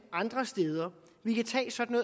andre steder vi kan tage sådan